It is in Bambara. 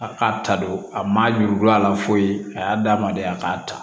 A k'a ta don a ma ɲugula a la foyi a y'a d'a ma de a k'a ta